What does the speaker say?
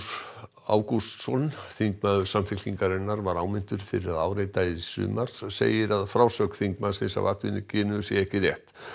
Ágústsson þingmaður Samfylkingarinnar var áminntur fyrir að áreita í sumar segir að frásögn þingmannsins af atvikinu sé ekki rétt